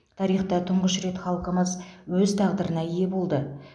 тарихта тұңғыш рет халқымыз өз тағдырына ие болды